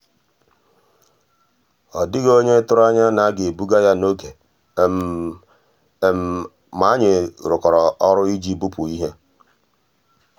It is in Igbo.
ọ́ dị́ghị́ ónyé tụ̀rụ̀ ànyá ná á gà-èbùgà yá n'ògé mà ànyị́ rụ́kọ̀rọ́ ọ́rụ́ ìjì bùpú íhé.